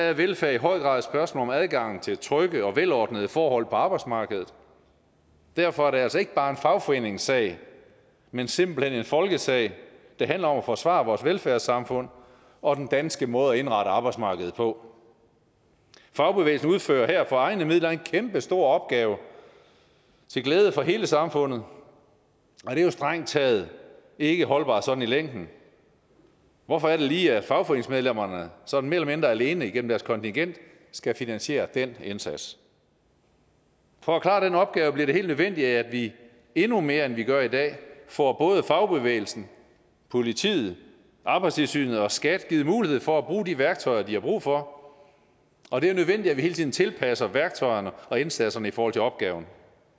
er velfærd i høj grad et spørgsmål om adgangen til trygge og velordnede forhold på arbejdsmarkedet derfor er det altså ikke bare en fagforeningssag men simpelt hen en folkesag det handler om at forsvare vores velfærdssamfund og den danske måde at indrette arbejdsmarkedet på fagbevægelsen udfører her for egne midler en kæmpestor opgave til glæde for hele samfundet og det er jo strengt taget ikke holdbart sådan i længden hvorfor er det lige at fagforeningsmedlemmerne sådan mere eller mindre alene gennem deres kontingent skal finansiere den indsats for at klare den opgave bliver det helt nødvendigt at vi endnu mere end vi gør i dag får både fagbevægelsen politiet arbejdstilsynet og skat givet mulighed for at bruge de værktøjer de har brug for og det er nødvendigt at vi hele tiden tilpasser værktøjerne og indsatserne i forhold til opgaven